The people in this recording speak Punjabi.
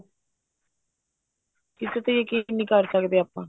ਕਿਸੇ ਤੇ ਯਕੀਨ ਨਹੀਂ ਕਰ ਸਕਦੇ ਆਪਾਂ